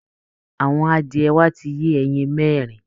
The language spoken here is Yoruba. Àwọn adìẹ wa ti yé ẹyin mẹ́rin